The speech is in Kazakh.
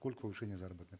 сколько повышение заработной